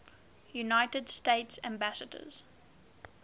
united states ambassadors